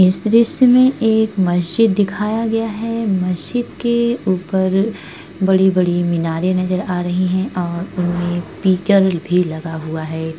इस दृश्य में एक मस्जिद दिखाया गया है। मस्जिद के ऊपर बड़ी-बड़ी मीनारे नजर आ रही हैं और उनमे भी लगा हुआ है।